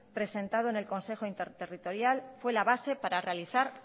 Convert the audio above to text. presentado en el consejo interterritorial fue la base para realizar